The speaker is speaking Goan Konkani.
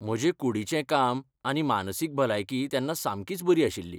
म्हजे कूडीचें काम आनी मानसीक भलायकीय तेन्ना सामकीच बरी आशिल्ली.